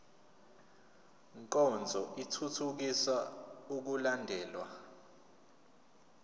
nkonzo ithuthukisa ukulandelwa